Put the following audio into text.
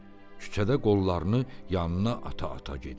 Küçədə qollarını yanına ata-ata gedirdi.